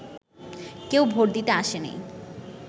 কেউ ভোট দিতে আসেনি